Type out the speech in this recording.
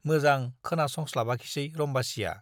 मोजा खोनासंस्लाबाखिसै रम्बासीया ।